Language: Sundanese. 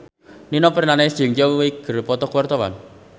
Nino Fernandez jeung Zhao Wei keur dipoto ku wartawan